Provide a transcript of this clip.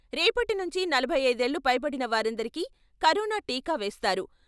రేపటి నుంచి నలభై ఐదు ఏళ్లు పైబడిన వారందరికీ కరోనా టీకా వేస్తారు.